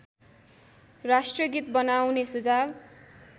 राष्ट्रगीत बनाउने सुझाव